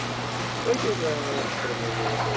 Veggir slagæðanna eru úr þremur lögum.